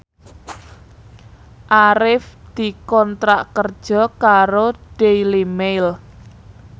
Arif dikontrak kerja karo Daily Mail